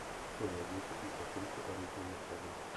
что найдется из актрисы рейчел макадамс